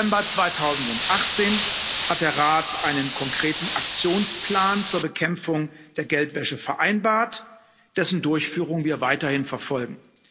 Im Dezember 2018 hat der Rat einen konkreten Aktionsplan zur Bekämpfung der Geldwäsche vereinbart, dessen Durchführung wir weiterhin verfolgen.